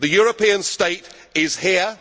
The European state is